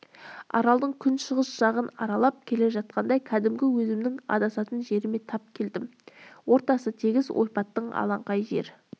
аралдың күншығыс жағын аралап келе жатқанда кәдімгі өзімнің адасатын жеріме тап келдім ортасы тегіс ойпатты алаңқай жер